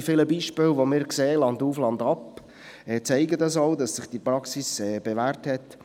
Die vielen Beispiele, die wir landauf, landab sehen, zeigen auch, dass sich diese Praxis bewährt hat.